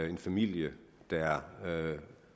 en familie der